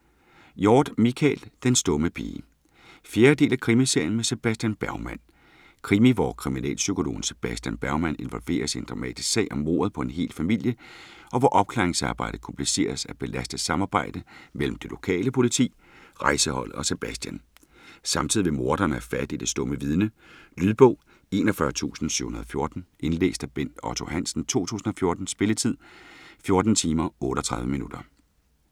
Hjorth, Michael: Den stumme pige 4. del af krimiserien med Sebastian Bergman. Krimi, hvor kriminalpsykologen Sebastian Bergman involveres i en dramatisk sag om mordet på en hel familie, og hvor opklaringsarbejdet kompliceres af et belastet samarbejde mellem det lokale politi, rejseholdet og Sebastian. Samtidig vil morderen have fat i det stumme vidne. Lydbog 41714 Indlæst af Bent Otto Hansen, 2014. Spilletid: 14 timer, 38 minutter.